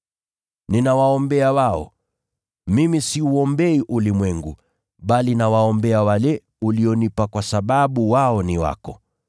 Ninawaombea wao. Mimi siuombei ulimwengu, bali nawaombea wale ulionipa kwa sababu wao ni wako.